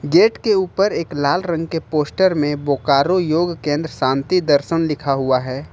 Gate के ऊपर एक लाल रंग के पोस्टर में बोकारो योग केंद्र शांति दर्शन लिखा हुआ है।